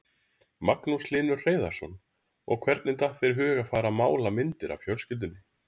Magnús Hlynur Hreiðarsson: Og hvernig datt þér í hug að fara mála myndir af fjölskyldunni?